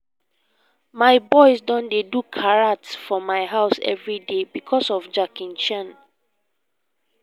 my boys don dey do karate for my house everyday because of jackie chan